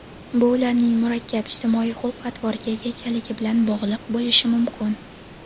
bu ularning murakkab ijtimoiy xulq-atvorga ega ekanligi bilan bog‘liq bo‘lishi mumkin.